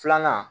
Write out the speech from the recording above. Filanan